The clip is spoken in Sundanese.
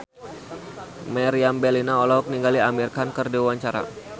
Meriam Bellina olohok ningali Amir Khan keur diwawancara